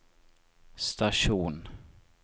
stasjon